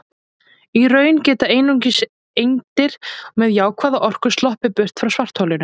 Í raun geta einungis eindir með jákvæða orku sloppið burt frá svartholinu.